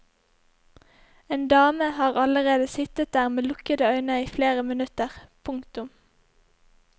En dame har allerede sittet der med lukkede øyne i flere minutter. punktum